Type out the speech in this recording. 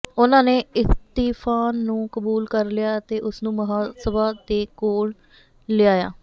ਉਨ੍ਹਾਂ ਨੇ ਇਸਤੀਫ਼ਾਨ ਨੂੰ ਕਬੂਲ ਕਰ ਲਿਆ ਅਤੇ ਉਸਨੂੰ ਮਹਾਸਭਾ ਦੇ ਕੋਲ ਲਿਆਇਆ